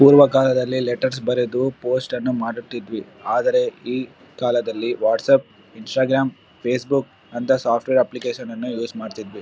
ಪೂರ್ವಕಾಲದಲ್ಲಿ letters ಬರೆದು post ಅನ್ನು ಮಾಡುತ್ತಿದ್ದವಿ ಆದರೆ ಈ ಕಾಲದಲ್ಲಿ ವಾಟ್ಸಪ್ಪ್ ಇನ್ಸ್ಟ್ರಾಗ್ರಾಮ್ ಫೇಸ್ ಬುಕ್ ಅಂತ ಸಾಫ್ಟ್ವೇರ್ ಅಪ್ಲಿಕೇಶನ್ ನನ್ನಾ ಯೂಸ್ ಮಾಡ್ತಿದ್ವಿ.